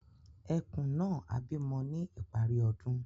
Ẹ̀kùn náà á bí mọ́ ní ìparí ọ̀dún.